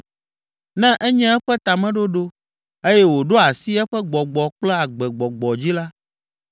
Ne enye eƒe tameɖoɖo eye wòɖo asi eƒe gbɔgbɔ kple agbegbɔgbɔ dzi la,